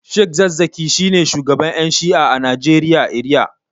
sheikh zakkaki shine shugaban Yan shi'a a Najeriya eriya.